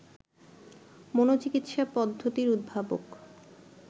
মনোচিকিৎসা পদ্ধতির উদ্ভাবক